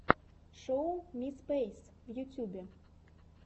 шоу ми спэйс в ютубе